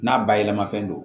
N'a bayɛlɛmafɛn don